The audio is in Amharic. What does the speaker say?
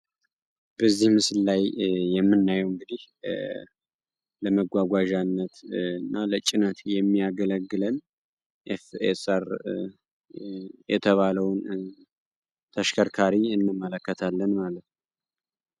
በዚህ ምስል ላይ የምናየው እንግዲህ ለመጓጓዣነት እና ለጭነት የሚያገለግለን ኤፌሰር የተባለውን ተሽከርካሪ እንመለከታለን ማለት ነው።